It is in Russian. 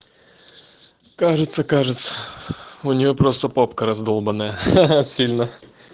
кажется кажется у нее просто попка раздолбаная сильно